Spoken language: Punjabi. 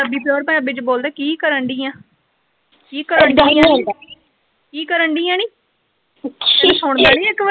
ਪੰਜਾਬੀ ਪਿਓਰ ਚ ਬੋਲਦੇ ਕੀ ਕਰਨ ਡਈ ਆ ਕੀ ਕਰਨ ਡਈ ਆ ਨੀ ਕੀ ਕਰਨ ਡਾਈ ਆ ਨੀ ਤੇਨੁ ਸੁਣਦਾ ਨੀ ਇਕ ਵਾਰੀ।